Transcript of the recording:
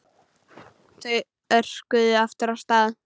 Þau örkuðu aftur af stað.